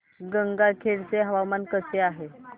गंगाखेड चे हवामान कसे आहे